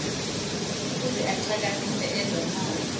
ueuze ichakamise ezomoya